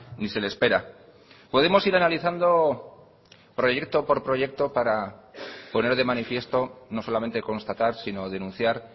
ni se le espera podemos ir analizando proyecto por proyecto para poner de manifiesto no solamente constatar sino denunciar